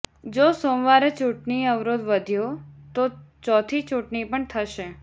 જો સોમવારે ચૂંટણી અવરોધ વધ્યો તો ચોથી ચૂંટણી પણ થશે